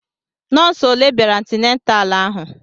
Nọọsụ olé bịara antinatalu ahụ?